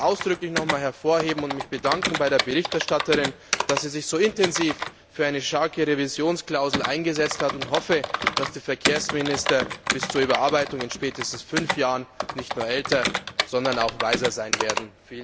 Ich möchte ausdrücklich noch einmal darauf hinweisen und mich bei der Berichterstatterin dafür bedanken, dass sie sich so intensiv für eine starke Revisionsklausel eingesetzt hat, und hoffe, dass die Verkehrsminister bis zur Überarbeitung in spätestens fünf Jahren nicht nur älter, sondern auch weiser sein werden.